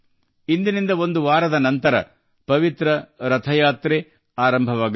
ಇನ್ನು ಒಂದು ವಾರದ ನಂತರ ಪವಿತ್ರ ರಥಯಾತ್ರೆ ಆರಂಭವಾಗಲಿದೆ